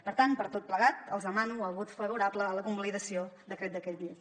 per tant per tot plegat els demano el vot favorable a la convalidació d’aquest decret llei